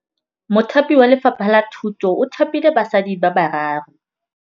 Mothapi wa Lefapha la Thutô o thapile basadi ba ba raro.